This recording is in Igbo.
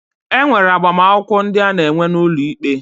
E nwere agbamakwụkwọ ndị a na-enwe n'ụlọ ikpe.